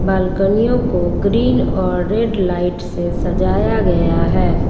बालकनियों को ग्रीन और red light से सजाया गया है।